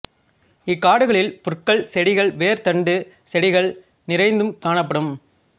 இக் காடுகளில் புற்கள் செடிகள் வேர்த் தண்டுச் செடிகள் நிறைந்தும் காணப்படும்